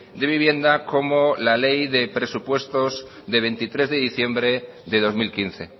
de vivienda como la ley de presupuestos de veintitrés de diciembre de dos mil quince